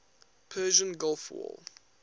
persian gulf war